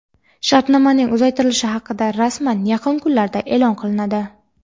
Shartnomaning uzaytirilishi haqida rasman yaqin kunlarda e’lon qilinadi.